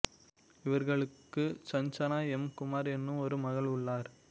இவர்களுக்கு சஞ்சனா எம் குமார் எனும் ஒரு மகள் உள்ளார்